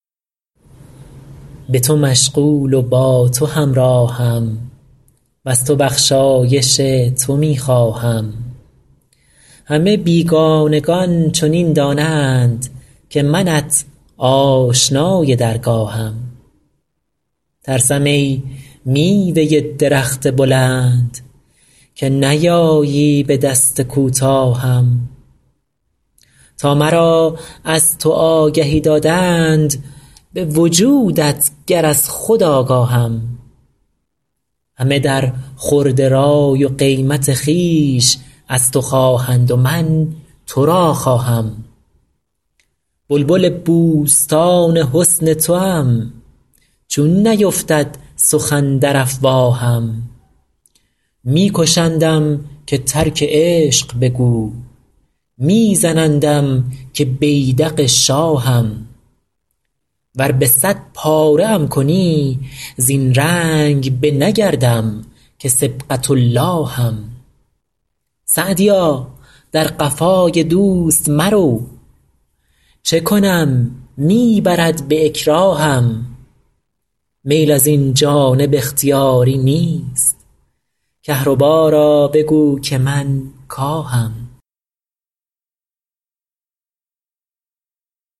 به تو مشغول و با تو همراهم وز تو بخشایش تو می خواهم همه بیگانگان چنین دانند که منت آشنای درگاهم ترسم ای میوه درخت بلند که نیایی به دست کوتاهم تا مرا از تو آگهی دادند به وجودت گر از خود آگاهم همه در خورد رای و قیمت خویش از تو خواهند و من تو را خواهم بلبل بوستان حسن توام چون نیفتد سخن در افواهم می کشندم که ترک عشق بگو می زنندم که بیدق شاهم ور به صد پاره ام کنی زین رنگ نه بگردم که صبغة اللهم سعدیا در قفای دوست مرو چه کنم می برد به اکراهم میل از این جانب اختیاری نیست کهربا را بگو که من کاهم